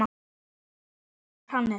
Þinn sonur, Hannes.